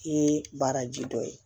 I ye baaraji dɔ ye